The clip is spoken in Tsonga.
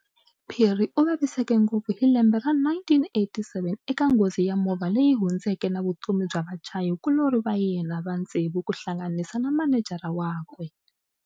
Phiri uvaviseke ngopfu hi lembe ra 1987 eka nghozi ya movha leyi hundzeke na vutomi bya vachayi kulori va yena va ntsevu kuhlanganisa na Manejara wakwe.